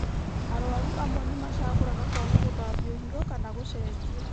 Arwaru amwe nĩmacagũraga kwaga gũthambio higo kana gũcenjio